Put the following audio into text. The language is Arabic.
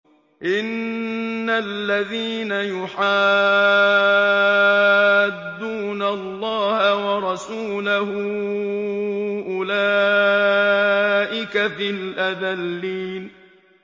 إِنَّ الَّذِينَ يُحَادُّونَ اللَّهَ وَرَسُولَهُ أُولَٰئِكَ فِي الْأَذَلِّينَ